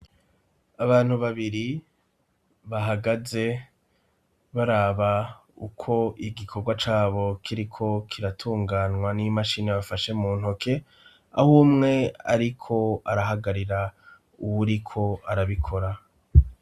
Abantu babiri bahagaze baraba uko igikorwa cabo kiriko kiratunganwa n'imashini bafashe mu ntoke, aho umwe ariko arahagarira uwuriko arabikora.